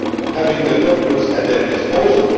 room, having the documents at their disposal.